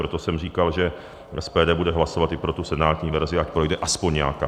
Proto jsem říkal, že SPD bude hlasovat i pro tu senátní verzi, ať projde aspoň nějaká.